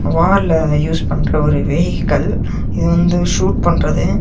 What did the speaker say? வார்ல use பண்ற ஒரு vehicle இது வந்து ஷூட் பண்றது.